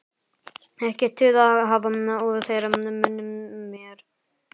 Ekkert tuð að hafa úr þeirra munni meir.